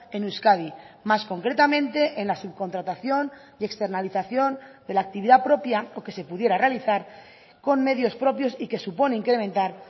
en euskadi más concretamente en la subcontratación y externalización de la actividad propia o que se pudiera realizar con medios propios y que supone incrementar